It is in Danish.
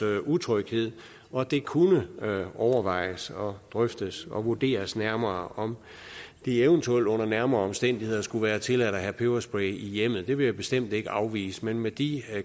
utryghed og det kunne overvejes drøftes og vurderes nærmere om det eventuelt under nærmere omstændigheder skulle være tilladt at have peberspray i hjemmet det vil jeg bestemt ikke afvise men med de